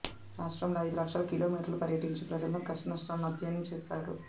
రాష్ట్రంలో ఐదు లక్షల కిలోమీటర్లు పర్యటించి ప్రజల కష్టనష్టాలను అధ్యయనం చేశాడు